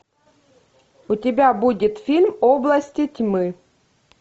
у тебя будет фильм области тьмы